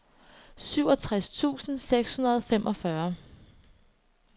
syvogtres tusind seks hundrede og femogfyrre